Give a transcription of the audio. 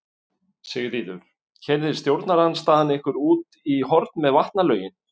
Sigríður: Keyrði stjórnarandstaðan ykkur út í horn með vatnalögin?